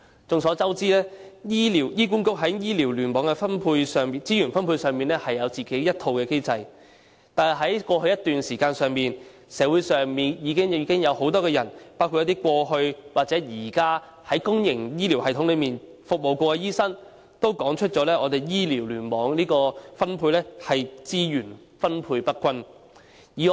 眾所周知，香港醫院管理局在醫療聯網的資源分配上，有自己的一套機制，但在過去一段時間，社會上很多人，包括過去或現時在公營醫療系統內服務的醫生均指出，醫療聯網的資源分配不均。